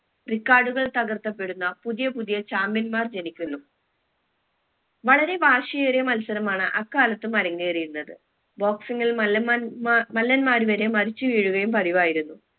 record കൾ തകർത്തപ്പെടുന്ന പുതിയ പുതിയ champion മാർ ജനിക്കുന്നു വളരെ വാശിയേറിയ മത്സരമാണ് അക്കാലത്തും അരങ്ങേറിയിരുന്നത് boxing ഇൽ മല്ലൻമാൻ മ മല്ലന്മാർ വരെ മരിച്ചു വീഴുകയും പതിവായിരുന്നു